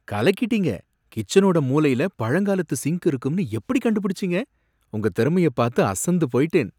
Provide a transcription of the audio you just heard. கலக்கிட்டீங்க! கிச்சனோட மூலைல பழங்காலத்து சிங்க் இருக்கும்னு எப்படி கண்டுபிடிச்சீங்க? உங்க திறமையை பார்த்து அசந்து போயிட்டேன்!